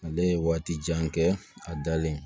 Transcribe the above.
Ale ye waati jan kɛ a dalen